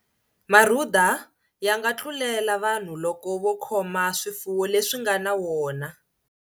Marhuda ya nga tlulela vanhu loko vo khoma swifuwo leswi nga na wona.